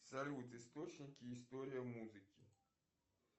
салют источники история музыки